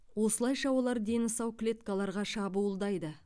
осылайша олар дені сау клеткаларға шабуылдайды